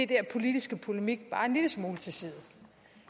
der politiske polemik bare en lille smule til side